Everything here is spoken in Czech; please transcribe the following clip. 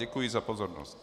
Děkuji za pozornost.